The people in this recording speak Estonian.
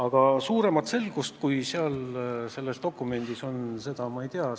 Aga midagi rohkemat, kui seal selles dokumendis on, ma ei tea.